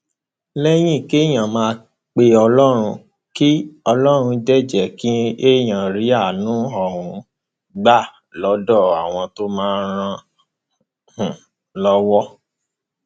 lẹyìn kéèyàn máa pe ọlọrun k ọlọrun dé jẹ kéèyàn rí àánú um gbà lọdọ àwọn tó máa ràn án um lọwọ